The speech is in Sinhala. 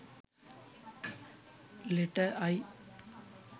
letter i